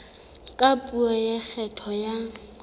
ka puo ya kgetho ya